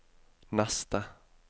neste